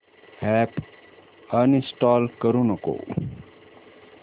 app uninstall करू नको